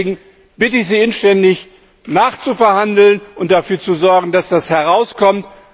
Deswegen bitte ich Sie inständig, nachzuverhandeln und dafür zu sorgen, dass das herauskommt.